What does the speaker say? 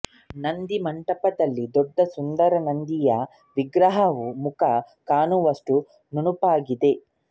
ನಂದಿ ಮಂಟಪದಲ್ಲಿ ದೊಡ್ಡ ಸುಂದರ ನಂದಿಯ ವಿಗ್ರಹವು ಮುಖ ಕಾಣುವಷ್ಟು ನುಣುಪಾಗಿದೆ